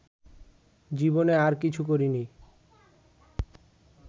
জীবনে আর কিছু করিনি